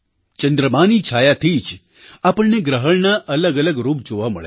ચંદ્રમાની છાયાથી જ આપણને ગ્રહણનાં અલગઅલગ રૂપ જોવાં મળે છે